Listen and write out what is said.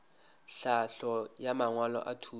tlhahlo ya mangwalo a thuto